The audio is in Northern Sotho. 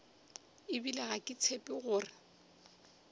ebile ga ke tshepe gore